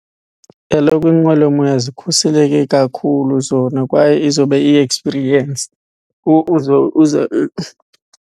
Kaloku inqwelomoya zikhuseleke kakhulu zona kwaye izoba iyi-experience .